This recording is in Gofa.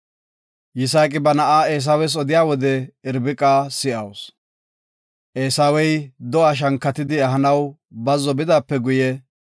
Yisaaqi ba na7a Eesawes odiya wode Irbiqa si7awusu. Eesawey do7a shankatidi ehanaw bazzo bidaape guye,